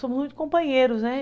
Somos muito companheiros, né?